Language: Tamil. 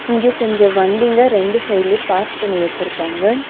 இங்க கொஞ்ஜோ வண்டிங்க ரெண்டு சைடுலயு பார்க் பண்ணி வச்சுருக்காங்க.